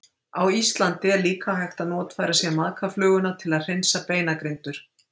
Á Íslandi er líka hægt að notfæra sér maðkafluguna til að hreinsa beinagrindur.